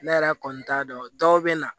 Ne yɛrɛ kɔni t'a dɔn dɔw bɛ na